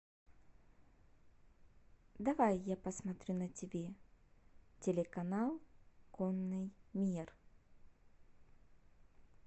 давай я посмотрю на тв телеканал конный мир